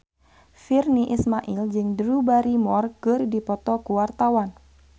Virnie Ismail jeung Drew Barrymore keur dipoto ku wartawan